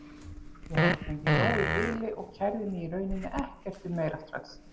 Ég hafði fengið nóg í bili og kærði mig í rauninni ekkert um meira strax.